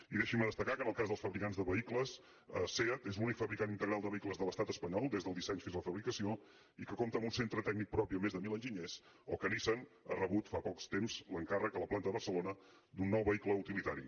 i deixi’m destacar que en el cas dels fabricants de vehicles seat és l’únic fabricant integral de vehicles de l’estat espanyol des del disseny fins a la fabricació i que compta amb un centre tècnic propi amb més de mil enginyers o que nissan ha rebut fa poc temps l’encàrrec a la planta de barcelona d’un nou vehicle utilitari